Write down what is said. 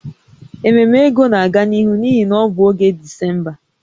Ememe ego na-aga n'ihu n'ihi na ọ bụ oge Disemba